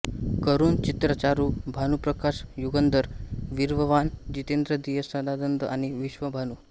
करुण चित्रचारू भानुप्रकाश युगंधर वीर्यवान जितेंद्रिय सदानंद आणि विश्वभानू